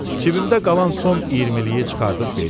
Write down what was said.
Cibimdə qalan son iyirmiliyi çıxarıb verdim.